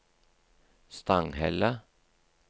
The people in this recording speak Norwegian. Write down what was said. Stanghelle